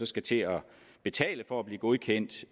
skal til at betale for at blive godkendt